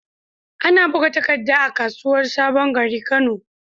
Ana buga takadda a kasuwar sabon gari, kano